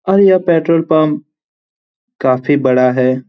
और ये petrol pump काफी बड़ा है।